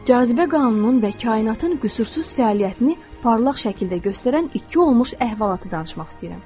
Cazibə qanununun və kainatın qüsursuz fəaliyyətini parlaq şəkildə göstərən iki olmuş əhvalatı danışmaq istəyirəm.